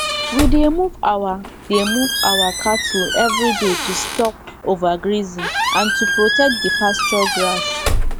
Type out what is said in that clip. we dey move our dey move our cattle everyday to stop overgrazing and to protect the pasture grass